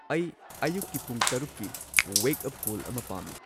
ꯑꯩ ꯑꯌꯨꯛꯀꯤ ꯄꯨꯡ ꯇꯔꯨꯛꯀꯤ ꯋꯦꯛꯑꯞ ꯀꯣꯜ ꯑꯃ ꯄꯥꯝꯃꯤ